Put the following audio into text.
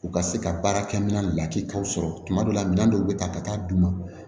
U ka se ka baarakɛminɛn lakikaw sɔrɔ tuma dɔ la minɛn dɔw bɛ taa ka taa d'u ma